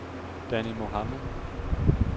Danni Mohamed